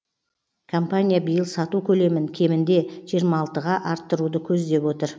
компания биыл сату көлемін кемінде жиырма алты арттыруды көздеп отыр